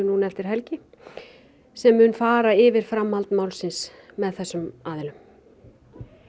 núna eftir helgi sem mun fara yfir framhald málsins með þessum aðilum